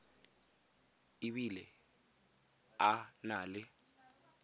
e bile a na le